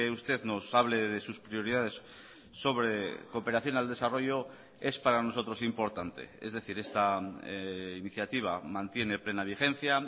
usted nos hable de sus prioridades sobre cooperación al desarrollo es para nosotros importante es decir esta iniciativa mantiene plena vigencia